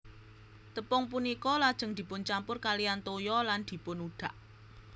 Tepung punika lajeng dipuncampur kalihan toya lan dipunudhak